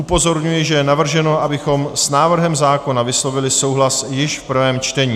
Upozorňuji, že je navrženo, abychom s návrhem zákona vyslovili souhlas již v prvém čtení.